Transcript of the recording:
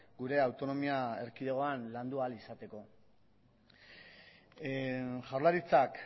gure autonomia erkidegoan landu ahal izateko jaurlaritzak